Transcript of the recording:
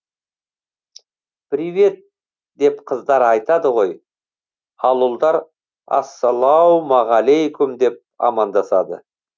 привет деп қыздар айтады ғой ал ұлдар ассалаумағалейкум деп амандасады